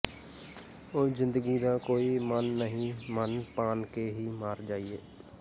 ਓ ਜ਼ਿੰਦਗੀ ਦਾ ਕੋਈ ਮਨ ਨਹੀ ਮਨ ਪਾਨ ਕੇ ਹੀ ਮਾਰ ਜਾਈਏ